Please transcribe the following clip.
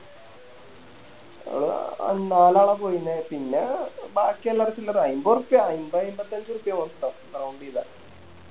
ഞാള് നാലാള പോയിന്നെ പിന്നെ ബാക്കിയെല്ലാർക്കും ഇല്ലത അയിമ്പർപ്പ്യ അയിമ്പേ അയിമ്പത്തഞ്ച് ഉറുപ്യാ Round ചെയ്ത